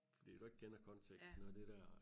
Fordi du ikke kender konteksten og det dér